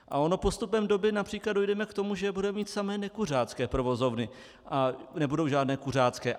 A ono postupem doby například dojdeme k tomu, že budeme mít samé nekuřácké provozovny a nebudou žádné kuřácké.